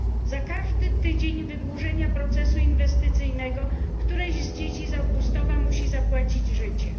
Za każdy tydzień wydłużenia procesu inwestycyjnego któreś z dzieci z Augustowa musi zapłacić życiem.